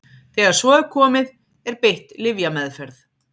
þegar svo er komið er beitt lyfjameðferð